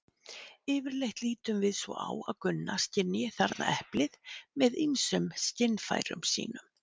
Yfirleitt lítum við svo á að Gunna skynji þarna eplið með ýmsum skynfærum sínum.